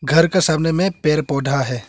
घर का सामने में पेड़ पौधा है।